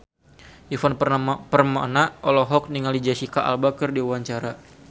Ivan Permana olohok ningali Jesicca Alba keur diwawancara